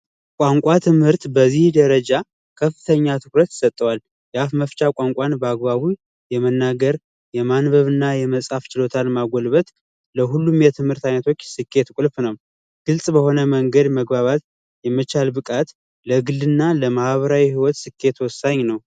የቋንቋ ትምህርት በዚህ ደረጃ ከፍተኛ ትኩረት ይሰጠዋል። የአፍ መፍቻ ቋንቋን በአግባቡ የመናገር ፣የማንበብ እና የመፃፍ ችሎታን ማዳበር ለሁሉም የትምህርት አይነቶች ስኬት ቁልፍ ነው። ግልጽ በሆነ መንገድ መግባባት የመቻል ብቃት ለግል እና ለማህበራዊ ህይወት ወሳኝ ነው።